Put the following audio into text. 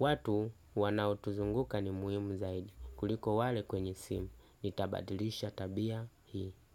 Watu wanautuzunguka ni muhimu zaidi kuliko wale kwenye sim. Nitabadilisha tabia hii.